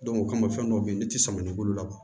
o kama fɛn dɔw be yen nɔ ne ti sama ni bolo laban